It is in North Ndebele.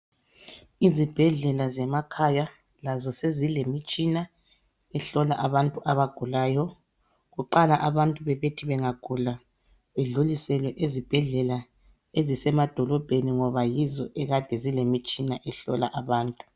Izibhedlela zemakhaya lazo sezilemitshina ehlola abantu abagulayo Kuqala bantu bebethi bengagula bedlulisele ezibhedlela ezisemadolobheni ngoba yizo egade zilemitshina ehlola abantu